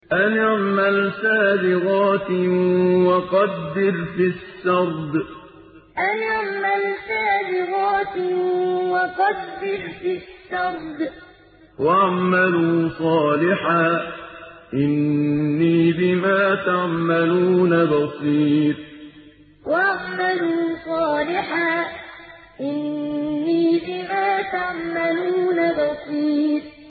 أَنِ اعْمَلْ سَابِغَاتٍ وَقَدِّرْ فِي السَّرْدِ ۖ وَاعْمَلُوا صَالِحًا ۖ إِنِّي بِمَا تَعْمَلُونَ بَصِيرٌ أَنِ اعْمَلْ سَابِغَاتٍ وَقَدِّرْ فِي السَّرْدِ ۖ وَاعْمَلُوا صَالِحًا ۖ إِنِّي بِمَا تَعْمَلُونَ بَصِيرٌ